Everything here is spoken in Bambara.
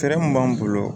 Fɛɛrɛ min b'an bolo